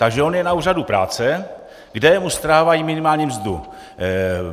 Takže on je na úřadu práce, kde mu strhávají minimální mzdu.